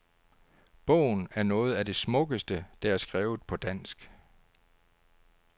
Bogen er noget af det smukkeste, der er skrevet på dansk.